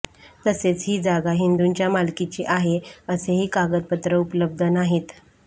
तसेच ही जागा हिंदूंच्या मालकीची आहे असेही कागदपत्र उपलब्ध नाहीत